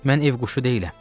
Mən ev quşu deyiləm.